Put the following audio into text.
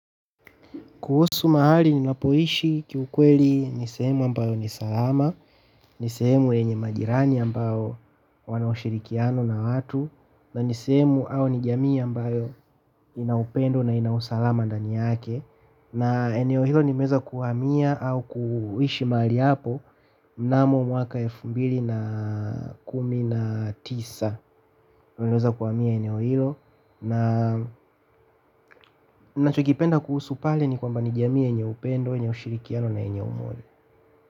Kuhusu mahali ninapoishi kiukweli ni sehemu ambayo ni salama, ni sehemu yenye majirani ambao wana ushirikiano na watu na ni sehemu au ni jamii ambayo ina upendo na ina usalama ndani yake na eneo hilo nimeeza kuhamia au kuishi mahali hapo mnamo mwaka elfu mbili na kumi na tisa. Ninachokipenda kuhusu pale ni kwamba ni jamii yeenye upendo, yenye ushirikiano na yenye umoja.